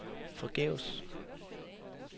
forgæves